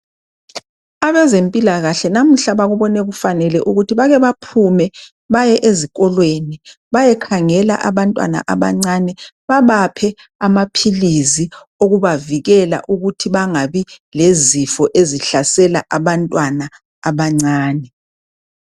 Abezempilakahle namuhla babone kufanele ukuba baphume bayakhangela abantwana abancane babaphe amaphilisi avikela izifo ezihlasela abantwana abancane .